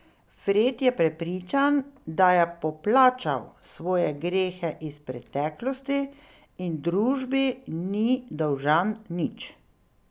Fred je prepričan, da je poplačal svoje grehe iz preteklosti in družbi ni dolžan nič.